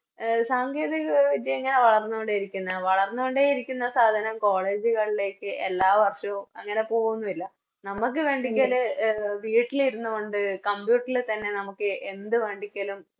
A സാങ്കേതിക വിദ്യ ഇങ്ങനെ വളർന്നോണ്ടിരിക്കുന്നെയാ വളർന്നൊണ്ടെ ഇരിക്കുന്ന സാധനം College കളിലേക്ക് എല്ലാ വർഷവും അങ്ങനെ പോകുന്നില്ല നമുക്ക് വെണ്ടിക്കല് എ വീട്ടിലിരുന്നുകൊണ്ട് Computer തന്നെ എന്ത് വേണ്ടീക്കലും